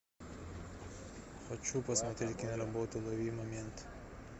хочу посмотреть киноработу лови момент